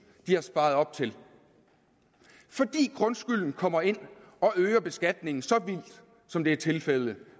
de har sparet op til fordi grundskylden kommer ind og øger beskatningen så vildt som det er tilfældet